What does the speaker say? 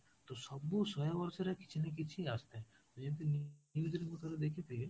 ତ ସବୁ ଶହେ ବର୍ଷରେ କିଛି ନା କିଛି ଆସୁ ଥାଏ, ତ ଯେମିତି news ରେ ମୁଁ ଥରେ ଦେଖିଥିଲି